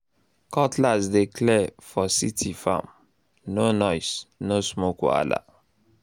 cutlass dey clear land for city farm—no noise no smoke wahala